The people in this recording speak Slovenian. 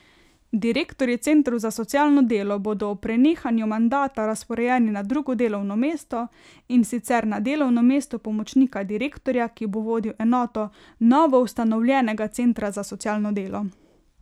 Direktorji centrov za socialno delo bodo ob prenehanju mandata razporejeni na drugo delovno mesto, in sicer na delovno mesto pomočnika direktorja, ki bo vodil enoto novoustanovljenega centra za socialno delo.